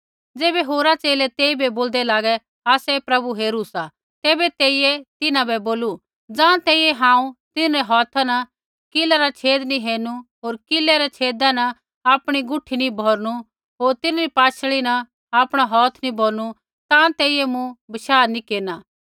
ज़ैबै होरा च़ेले तेइबै बोलदै लागै आसै प्रभु हेरू सा तैबै तेइयै तिन्हां बै बोलू ज़ाँ तैंईंयैं हांऊँ तिन्हरै हौथा न कीलै रा छेद नैंई हेरणू होर किलै रै छेदा न आपणी गुठी नी भौरनू होर तिन्हरी पाशल़ी न आपणा हौथ नी भौरनू ताँ तैंईंयैं मूँ बशाह नैंई केरना